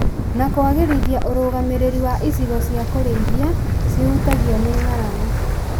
na kũagĩrithia ũrũgamĩrĩri wa icigo cia kũrĩithia cihutagio nĩ ng'aragu